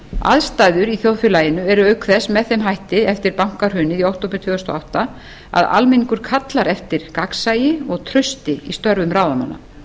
aðstæður í þjóðfélaginu eru auk þess með þeim hætti eftir bankahrunið í október tvö þúsund og átta að almenningur kallar eftir gagnsæi og trausti í störfum ráðamanna